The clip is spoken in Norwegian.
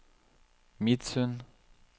Midsund